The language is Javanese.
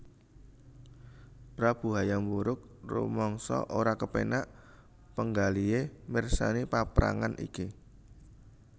Prabu Hayam Wuruk rumangsa ora kepénak panggalihé mirsani paprangan iki